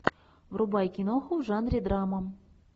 врубай киноху в жанре драма